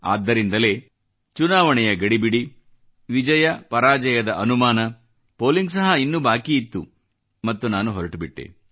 ಆದ್ದರಿಂದಲೇ ಚುನಾವಣೆಯ ಗಡಿಬಿಡಿ ವಿಜಯಪರಾಜಯದ ಅನುಮಾನ ಪೋಲಿಂಗ್ ಸಹ ಇನ್ನೂ ಬಾಕಿ ಇತ್ತು ಮತ್ತು ನಾನು ಹೊರಟುಬಿಟ್ಟೆ